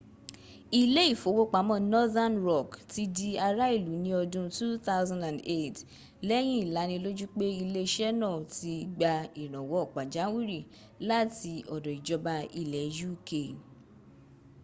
ilé ìfowópamọ́ northern rock ti di ti ará ìlú ní ọdún 2008 lẹ́yìn ìlanilójú pé iléẹṣẹ́ náà ti gba ìrànwọ́ pàjáwìrì láti ọ̀dọ̀ ìjọba ilẹ̀ uk